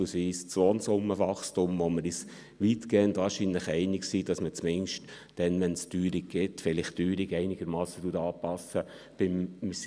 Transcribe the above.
Das betrifft auch das Lohnsummenwachstum, bei dem wir uns wahrscheinlich weitgehend einig sind, dass man es zumindest dann einigermassen anpasst, wenn es eine Teuerung gibt.